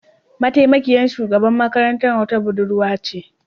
Mataimakiyar shugaban makarantar wata Budurwa ce